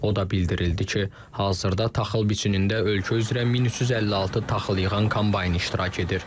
O da bildirildi ki, hazırda taxıl biçinində ölkə üzrə 1356 taxıl yığan kombayn iştirak edir.